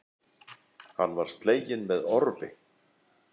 Hann var sleginn með orfi.